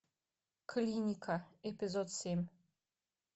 клиника эпизод семь